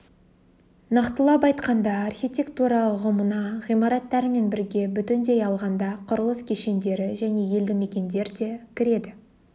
нақтылап айтқанда архитектура ұғымына ғимараттармен бірге бүтіндей алғанда құрылыс кешендері және елді мекендер де кіреді